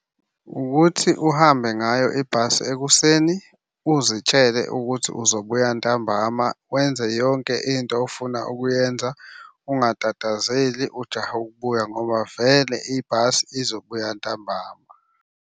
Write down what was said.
Ukuthi uhambe ngayo ibhasi ekuseni uzitshele ukuthi uzobuya ntambama, wenze yonke into ofuna ukuyenza, ungatatazeli ujahe ukubuya ngoba vele ibhasi izobuya ntambama.